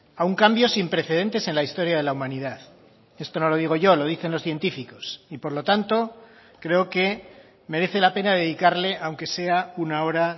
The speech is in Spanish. a un cambio sin precedentes en la historia de la humanidad esto no lo digo yo lo dicen los científicos y por lo tanto creo que merece la pena dedicarle aunque sea una hora